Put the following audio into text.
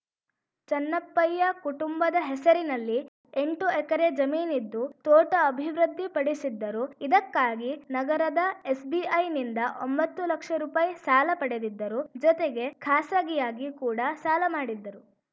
ಚನ್ನಪ್ಪಯ್ಯ ಕುಟುಂಬದ ಹೆಸರಿನಲ್ಲಿ ಎಂಟು ಎಕರೆ ಜಮೀನಿದ್ದು ತೋಟ ಅಭಿವೃದ್ಧಿಪಡಿಸಿದ್ದರು ಇದಕ್ಕಾಗಿ ನಗರದ ಎಸ್‌ಬಿಐನಿಂದ ಒಂಬತ್ತು ಲಕ್ಷ ರುಪಾಯಿ ಸಾಲ ಪಡೆದಿದ್ದರು ಜೊತೆಗೆ ಖಾಸಗಿಯಾಗಿ ಕೂಡ ಸಾಲ ಮಾಡಿದ್ದರು